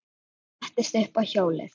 Ég settist upp á hjólið.